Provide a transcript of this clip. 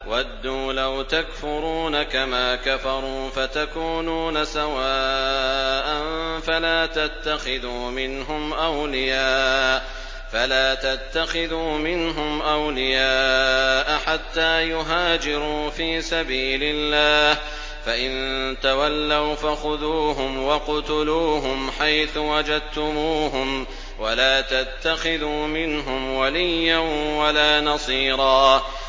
وَدُّوا لَوْ تَكْفُرُونَ كَمَا كَفَرُوا فَتَكُونُونَ سَوَاءً ۖ فَلَا تَتَّخِذُوا مِنْهُمْ أَوْلِيَاءَ حَتَّىٰ يُهَاجِرُوا فِي سَبِيلِ اللَّهِ ۚ فَإِن تَوَلَّوْا فَخُذُوهُمْ وَاقْتُلُوهُمْ حَيْثُ وَجَدتُّمُوهُمْ ۖ وَلَا تَتَّخِذُوا مِنْهُمْ وَلِيًّا وَلَا نَصِيرًا